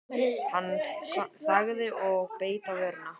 Hann þagði og beit á vörina.